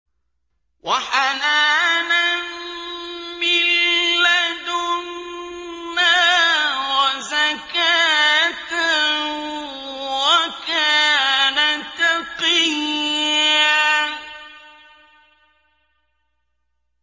وَحَنَانًا مِّن لَّدُنَّا وَزَكَاةً ۖ وَكَانَ تَقِيًّا